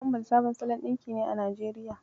Wamball sabon salon ɗinki ne a Najeriya.